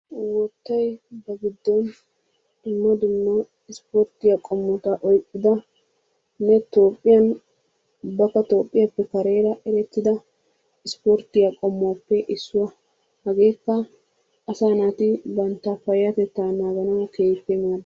Woottay ba giddon dumma dumma isporttiyaa qommota oyqqidane toophphiyaan ubbaka tiiphphiyaape kareera erettida isporttiyaa qommuwaappe issuwaa. Hageekka asaa naati bantta payatettaa naganawu keehippe maaddees.